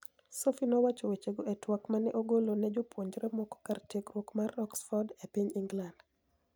Sophy nowacho wechego e twak ma ni e ogolo ni e jopuonijre moko kar tiegruok mar Oxford e piniy Eniglanid